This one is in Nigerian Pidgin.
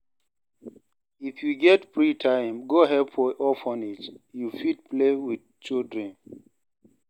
If you get free time, go help for orphanage, you fit play wit children.